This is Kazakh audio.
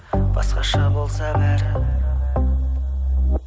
басқаша болса бәрі